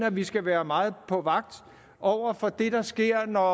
at vi skal være meget på vagt over for det der sker når